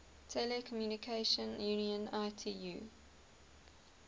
telecommunication union itu